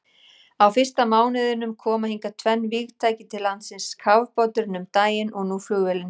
Á fyrsta mánuðinum koma hingað tvenn vígtæki til landsins, kafbáturinn um daginn og nú flugvélin.